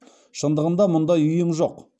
шындығында мұндай ұйым жоқ